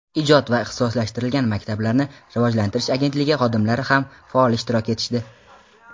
ijod va ixtisoslashtirilgan maktablarni rivojlantirish agentligi xodimlari ham faol ishtirok etishdi.